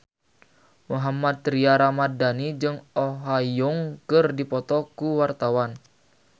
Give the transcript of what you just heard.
Mohammad Tria Ramadhani jeung Oh Ha Young keur dipoto ku wartawan